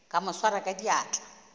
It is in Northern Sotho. ka mo swara ka diatla